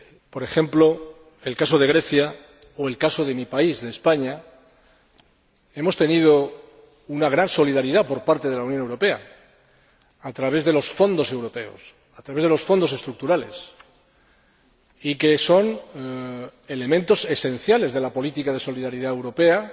Por ejemplo, en el caso de Grecia, o en el caso de mi país, España, hemos tenido una gran solidaridad por parte de la Unión Europea, a través de los fondos europeos, a través de los Fondos Estructurales, que son elementos esenciales de la política de solidaridad europea